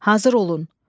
Hazır olun!